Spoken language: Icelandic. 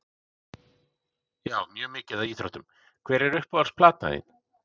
Já mjög mikið af íþróttum Hver er uppáhalds platan þín?